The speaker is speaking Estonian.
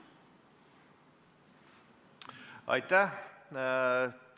Aitäh!